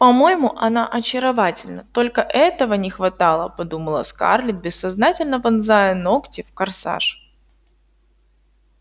по-моему она очаровательна только этого не хватало подумала скарлетт бессознательно вонзая ногти в корсаж